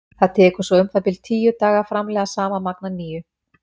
Það tekur svo um það bil tíu daga að framleiða sama magn að nýju.